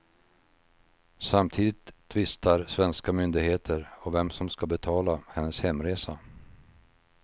Samtidigt tvistar svenska myndigheter om vem som ska betala hennes hemresa.